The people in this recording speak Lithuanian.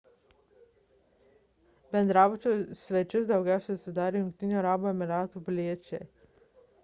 bendrabučio svečius daugiausia sudarė jungtinių arabų emyratų piliečiai